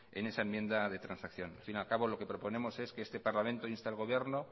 en esa enmienda de transacción al fin y al cabo lo que proponemos es que este parlamento inste al gobierno